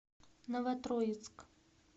новотроицк